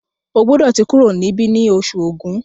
O gbódò tí kúrò nibi ní Oṣù Ògún!